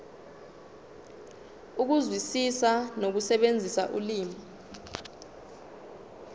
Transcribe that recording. ukuzwisisa nokusebenzisa ulimi